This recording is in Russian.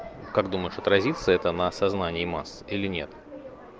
как думаешь отразится это на сознание масс или нет